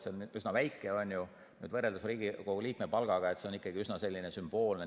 See on üsna väike, võrreldes Riigikogu liikme palgaga on see ikkagi üsna sümboolne.